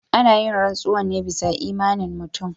Ana yin rantsuwa ne bisa imanin mutum.